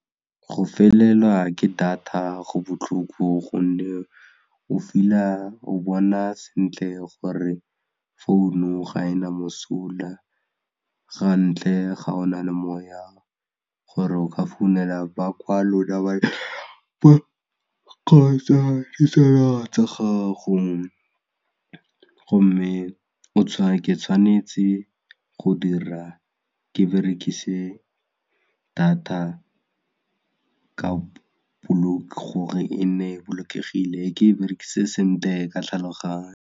Go felelwa ke data go botlhoko gonne o feel-a o bona sentle gore founu ga ena mosola ga ntle ga o na le moya gore o ka founela ba kgotsa ditsala tsa gago gomme ke tshwanetse go dira ke berekise data gore e nne bolokegile ke e berekise sentle ka tlhaloganyo.